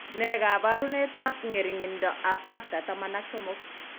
Nee kabarunoikab ng'ering'indoab Factor XIII?